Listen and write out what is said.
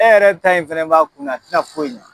E yɛrɛ ta in fɛnɛ b'a kun na a ti na foyi ɲa